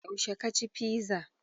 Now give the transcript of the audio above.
Yaushe ka ci fiza?